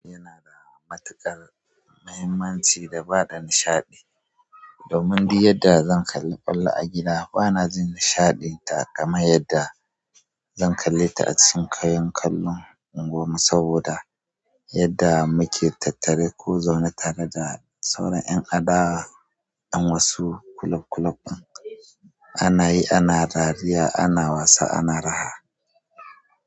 Yanada matuƙar mahimmanci da bada nishaɗi domin di yadda zan kalli kwalla a gida bana jin nishaɗin ta kaman yadda zan kalle ta acikin kayan kallon anguwan mu saboda yadda muke tattare ko zaune tare da sauran 'yan adawa' yan wasu club club ɗin, ana yi ana dariya ana wasa ana raha.